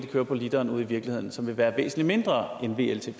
kører på literen ude i virkeligheden som vil være væsentlig mindre